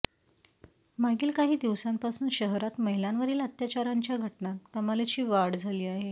मागील काही दिवसांपासून शहरात महिलांवरील अत्याचाराच्या घटनांत कमालीची वाढ झाली आहे